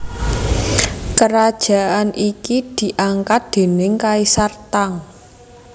Kerajaan iki diangkat déning Kaisar Tang